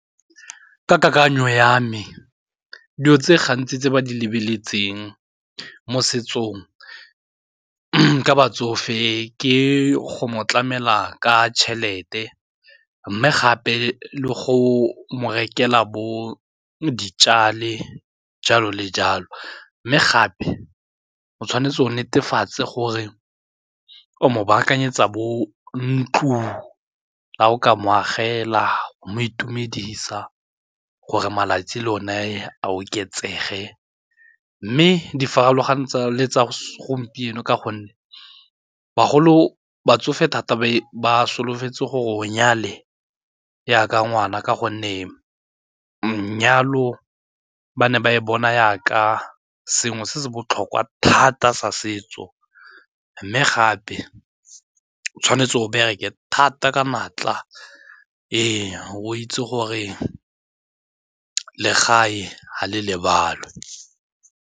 Ka kakanyo ya me, dilo tse gantsi tse ba di lebeletseng mo setsong ka batsofe ke go mo tlamela ka tšhelete mme gape le go mo rekela bo ditšale jalo le jalo. Mme gape o tshwanetse o netefatse gore o mo baakanyetsa bo ntlo, ga o ka mo agela mo itumedisa gore malatsi lone a oketsege. Mme di farologane tsa le tsa segompieno ka gonne bagolo ba tsofe thata e ba solofetse gore o nyale jaaka ngwana ka gonne manyalo ba ne ba e bona jaaka sengwe se se botlhokwa thata sa setso mme gape o tshwanetse go bereke thata ka natla fa o itse gore legae ga le lebalwe.